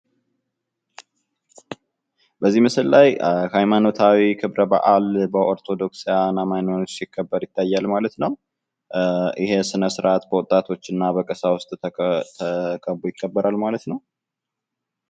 በዚህ ምስል ላይ ሀይማኖታዊ ክብረ በዓል በኦርቶዶክሳዉያን አማኞች ሲከበር ይታያል ማለት ነዉ። ይሄ ስነ-ስርዓት በወጣቶች እና በቀሳዉስቶች ተከቦ ይከበራል ማለት ነዉ።